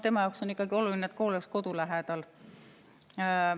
Tema jaoks on ikkagi oluline, et kool oleks kodu lähedal.